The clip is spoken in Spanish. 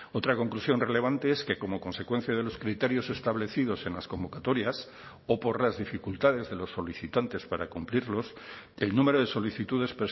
otra conclusión relevante es que como consecuencia de los criterios establecidos en las convocatorias o por las dificultades de los solicitantes para cumplirlos el número de solicitudes